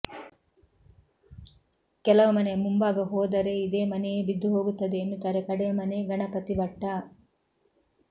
ಕೆಲವು ಮನೆಯ ಮುಂಭಾಗ ಹೋದರೆ ಇದೇ ಮನೆಯೇ ಬಿದ್ದು ಹೋಗುತ್ತದೆ ಎನ್ನುತ್ತಾರೆ ಕಡೇಮನೆ ಗಣಪತಿ ಭಟ್ಟ